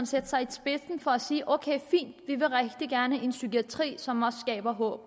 satte sig i spidsen for at sige ok fint vi vil rigtig gerne have en psykiatri som også skaber håb